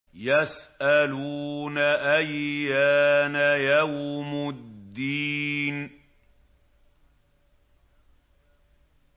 يَسْأَلُونَ أَيَّانَ يَوْمُ الدِّينِ